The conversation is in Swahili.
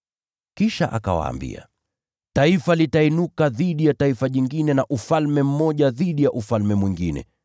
Kisha akawaambia: “Taifa litainuka dhidi ya taifa jingine, na ufalme mmoja dhidi ya ufalme mwingine.